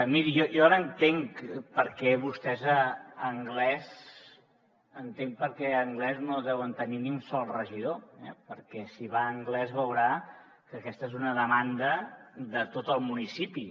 miri jo ara entenc perquè vostès a anglès no deuen tenir ni un sol regidor perquè si va a anglès veurà que aquesta és una demanda de tot el municipi